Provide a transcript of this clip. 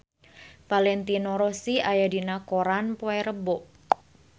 Valentino Rossi aya dina koran poe Rebo